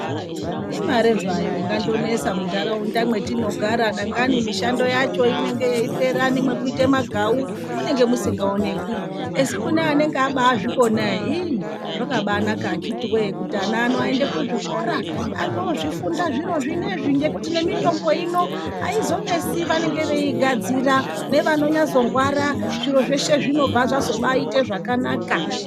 Imare zvayo ingandonesa muntaraunda mwatinogara dangani mishando yacho inenge yeipera nemwekuite magawu munenge musingaonekwi asi kune vanenge vabaazvikona ere iih !. Zvakabaanaka akhiti woye kuti ana ano aende kuzvikora andoozvifunda zviro zvinenezvi ngekuti nemitombo ino aizonesi vanenge veiigadzira, nevanonyazorwara zviro zveshe zvinobva zvazobaite zvakanaka.